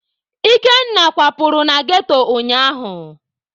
Ikenna kwapụrụ na ghetto ụnyaahụ.